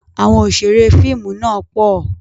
Àwọn Òṣeré fíìmù náà pọ̀